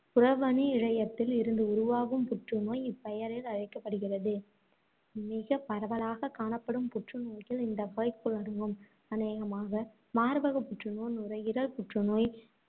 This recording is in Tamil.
புறவணியிழையத்தில் இருந்து உருவாகும் புற்றுநோய் இப்பெயரில் அழைக்கப்படுகிறது. மிகப் பரவலாகக் காணப்படும் புற்றுநோய்கள் இந்த வகைக்குள் அடங்கும். அநேகமாக மார்பகப் புற்றுநோய், நுரையீரல் புற்றுநோய்,